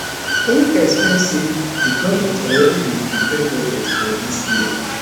im explain say di govment already bin prepare budget for dis year